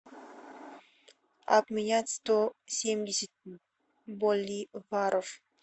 обменять сто семьдесят боливаров